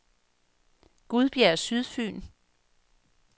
Gudbjerg Sydfyn